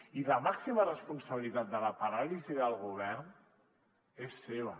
i la màxima responsabilitat de la paràlisi del govern és seva